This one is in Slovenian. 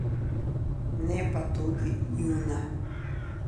Ne pa tudi njuna.